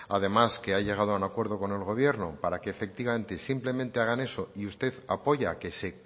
además que ha llegado a un acuerdo con el gobierno para que efectivamente y simplemente hagan eso y usted apoya que se